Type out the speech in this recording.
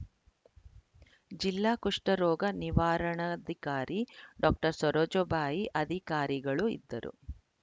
ಜಿಲ್ಲಾ ಕುಷ್ಟರೋಗ ನಿವಾರಣಾಧಿಕಾರಿ ಡಾಕ್ಟರ್ ಸರೋಜಬಾಯಿ ಅಧಿಕಾರಿಗಳು ಇದ್ದರು